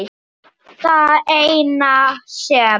Það eina sem